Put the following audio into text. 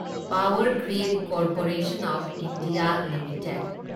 power Grid Corporation of India limited